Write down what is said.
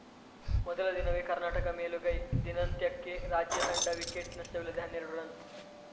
ಮೊದಲ ದಿನವೇ ಕರ್ನಾಟಕ ಮೇಲುಗೈ ದಿನದಂತ್ಯಕ್ಕೆ ರಾಜ್ಯ ತಂಡ ವಿಕೆಟ್‌ ನಷ್ಟವಿಲ್ಲದೆ ಹನ್ನೆರಡು ರನ್‌